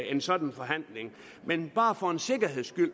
en sådan forhandling men bare for en sikkerheds skyld